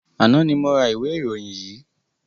Àná ni mo ra ìwé ìròyìn yìí.